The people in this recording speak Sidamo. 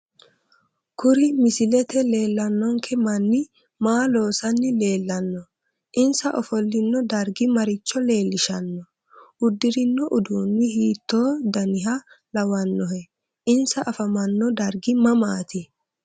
Kurri misilete leelanonke manni maa loosani leelanno insa ofolino darggi maricho leelishano uddirono uduuni hiitoo daniha lawanohe insa afamanno dargi mamaati